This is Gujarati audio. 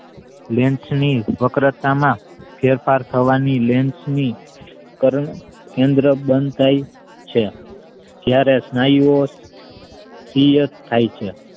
lens ની વકરતા માં ફેફર થવાની lens ની પન્ન કેન્દ્ર બંધાય છે જયારે સ્નાયુ ઓ સક્રિય થાય છે.